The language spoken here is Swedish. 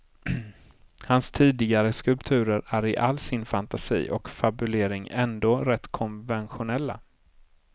Hans tidigare skulpturer är i all sin fantasi och fabulering ändå rätt konventionella.